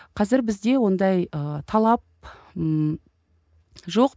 қазір бізде ондай ы талап ммм жоқ